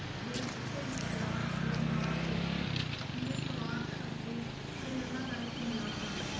ਦੇ ਪੱਕੇ ਵਿਸ਼ਵਾਸ ਦੇ ਨਾਲ ਇੱਕ ਨਿਸਵਾਰਥ ਅਤੇ ਪ੍ਰੇਰਣਾਦਾਇਕ ਮੁਲਾਕਾਤ